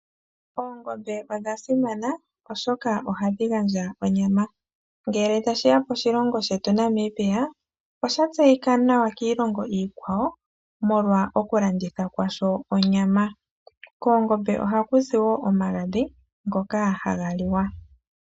Oongombe odha simana oshoka ohadhi gandja onyama. Ngele tashiya poshilongo shetu sha Namibia osha tseyika nawa kiilongo iikwawo molwa koku landitha kwasho onyama. Koongombe ohaku zi woo omagadhi ngoka haga liwa.